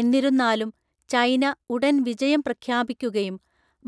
എന്നിരുന്നാലും, ചൈന ഉടൻ വിജയം പ്രഖ്യാപിക്കുകയും